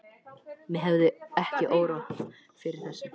mig hefði ekki órað fyrir þessu!